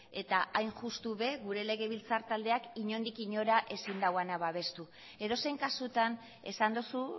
eta hain justu ere gure legebiltzar taldeak inondik inora ezin duena babestu edozein kasutan esan duzu